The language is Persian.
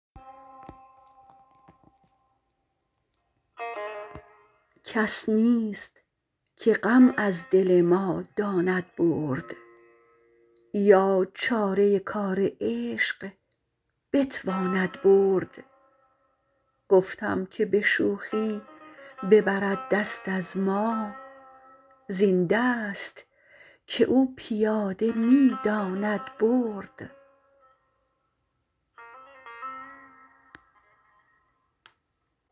کس نیست که غم از دل ما داند برد یا چاره کار عشق بتواند برد گفتم که به شوخی ببرد دست از ما زین دست که او پیاده می داند برد